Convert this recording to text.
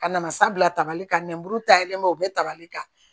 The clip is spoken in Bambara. Ka na sabila tabali kan nɛnburu taa yen ma o bɛ tabali kan